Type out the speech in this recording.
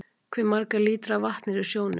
Hve margir lítrar af vatni eru í sjónum?